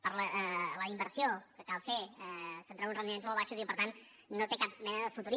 per la inversió que cal fer se’n treuen uns rendiments molt baixos i per tant no té cap mena de futur